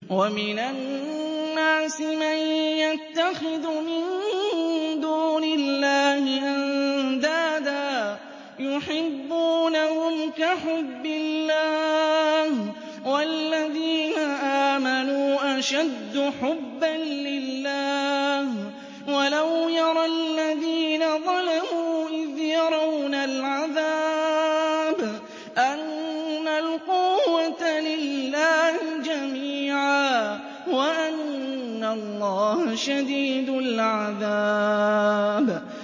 وَمِنَ النَّاسِ مَن يَتَّخِذُ مِن دُونِ اللَّهِ أَندَادًا يُحِبُّونَهُمْ كَحُبِّ اللَّهِ ۖ وَالَّذِينَ آمَنُوا أَشَدُّ حُبًّا لِّلَّهِ ۗ وَلَوْ يَرَى الَّذِينَ ظَلَمُوا إِذْ يَرَوْنَ الْعَذَابَ أَنَّ الْقُوَّةَ لِلَّهِ جَمِيعًا وَأَنَّ اللَّهَ شَدِيدُ الْعَذَابِ